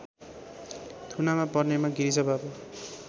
थुनामा पर्नेमा गिरिजाबाबु